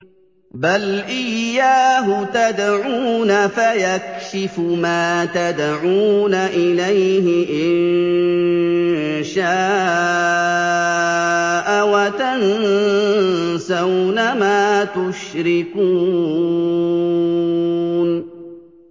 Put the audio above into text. بَلْ إِيَّاهُ تَدْعُونَ فَيَكْشِفُ مَا تَدْعُونَ إِلَيْهِ إِن شَاءَ وَتَنسَوْنَ مَا تُشْرِكُونَ